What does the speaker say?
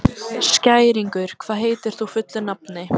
Skæringur, hvað heitir þú fullu nafni?